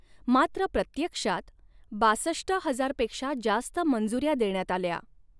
मात्र प्रत्यक्षात बासष्ट हजार पेक्षा जास्त मंजुऱ्या देण्यात आल्या.